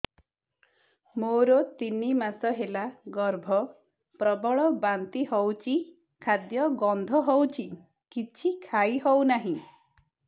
ମୋର ତିନି ମାସ ହେଲା ଗର୍ଭ ପ୍ରବଳ ବାନ୍ତି ହଉଚି ଖାଦ୍ୟ ଗନ୍ଧ ହଉଚି କିଛି ଖାଇ ହଉନାହିଁ